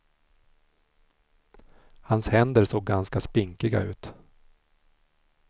Hans händer såg ganska spinkiga ut.